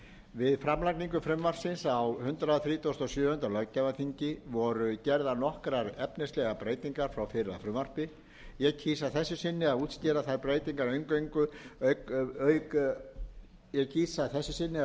við framlagningu frumvarpsins á hundrað þrítugasta og sjöunda löggjafarþingi voru gerðar nokkrar efnislegar breytingar frá fyrra frumvarpi ég kýs að þessu sinni að útskýra þær breytingar eingöngu auk breytinga þessa frumvarps sérstaklega en vísa að